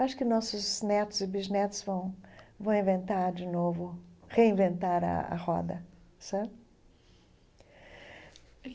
Acho que nossos netos e bisnetos vão vão inventar de novo, reinventar a a roda, sabe?